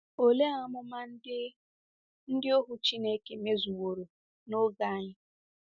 Olee amụma ndị ndị ohu Chineke mezuworo n’oge anyị?